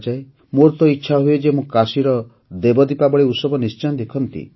ମୋର ତ ଇଚ୍ଛା ହୁଏ ଯେ ମୁଁ କାଶୀର ଦେବ ଦୀପାବଳୀ ଉତ୍ସବ ନିଶ୍ଚୟ ଦେଖନ୍ତି